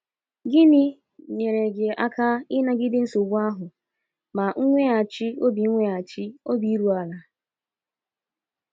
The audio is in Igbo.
Gịnị nyere gị aka ịnagide nsogbu ahụ ma nweghachi obi nweghachi obi iru ala?